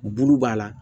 Bulu b'a la